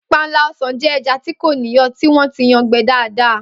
Panla o̩sàn jé̩ e̩ja tí kò níyò̩ tí wó̩n ti yan gbe̩ dáadáa